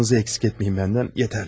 Duânızı əksik etməyin məndən, yetərlidir.